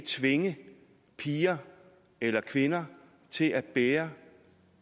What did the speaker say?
tvinge piger eller kvinder til at bære